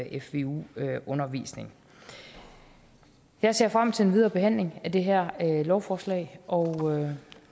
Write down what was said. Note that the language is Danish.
i fvu undervisning jeg ser frem til den videre behandling af det her lovforslag og